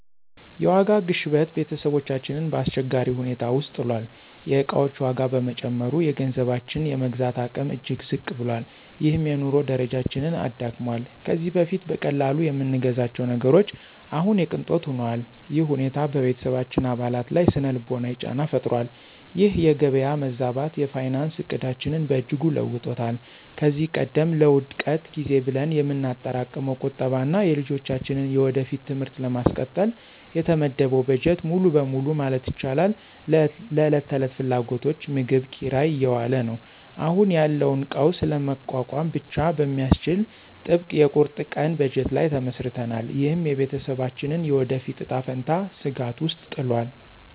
የዋጋ ግሽበት ቤተሰባችንን በአስቸጋሪ ሁኔታ ውስጥ ጥሏል። የዕቃዎች ዋጋ በመጨመሩ፣ የገንዘባችን የመግዛት አቅም እጅግ ዝቅ ብሏል፤ ይህም የኑሮ ደረጃችንን አዳክሟል። ከዚህ በፊት በቀላሉ የምንገዛቸው ነገሮች አሁን የቅንጦት ሆነዋል። ይህ ሁኔታ በቤተሰባችን አባላት ላይ ሥነ-ልቦናዊ ጫና ፈጥሯል። ይህ የገበያ መዛባት የፋይናንስ ዕቅዳችንን በእጅጉ ለውጦታል። ከዚህ ቀደም ለውድቀት ጊዜ ብለን የምናጠራቅመው ቁጠባ እና የልጆቻችንን የወደፊት ትምህርት ለማስቀጠል የተመደበው በጀት ሙሉ በሙሉ ማለት ይቻላል ለዕለት ተዕለት ፍላጎቶች (ምግብ፣ ኪራይ) እየዋለ ነው። አሁን ያለውን ቀውስ ለመቋቋም ብቻ በሚያስችል ጥብቅ የቁርጥ ቀን በጀት ላይ ተመስርተናል። ይህም የቤተሰባችንን የወደፊት እጣ ፈንታ ስጋት ውስጥ ጥሏል።